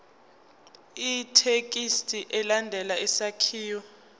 ithekisthi ilandele isakhiwo